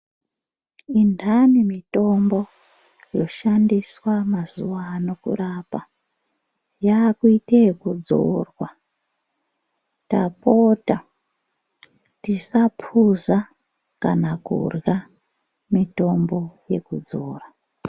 Indani mitombo yoshandiswa mazuvano kurapa, yaakuite ekudzorwa, tapota tisaphuza kana kurya mitombo yekudzora.